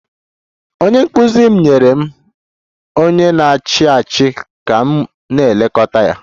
Onye nkụzi m nyere m onye na-achị achị ka m na-elekọta ya